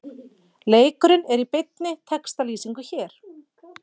Leikurinn er í beinni textalýsingu hér